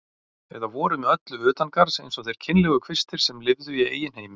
Eða voru með öllu utangarðs eins og þeir kynlegu kvistir sem lifðu í eigin heimi.